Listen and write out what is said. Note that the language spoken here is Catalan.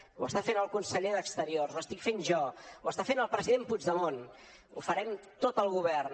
ho està fent el conseller d’exteriors ho estic fent jo ho està fent el president puigdemont ho farem tot el govern